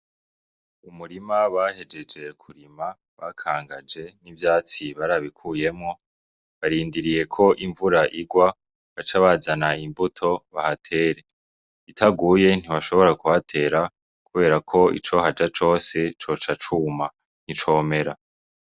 Umurima bahejeje kurima, bakangaje, n'ivyatsi barabikuyemwo. Barindiriye ko imvura igwa, bace bazana imbuto bahatere. Itaguye ntibashobora kuhatera, kubera ko icohaja cose coca cuma, nticomera.